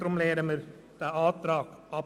Deshalb lehnen wir diesen Antrag ab.